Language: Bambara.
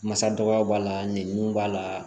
Masa dɔgɔyaw b'a la ɲininiw b'a la